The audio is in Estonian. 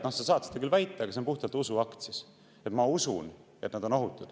Noh, sa küll saad seda väita, et sa usud, et nad on ohutud, aga see on puhtalt usuakt siis.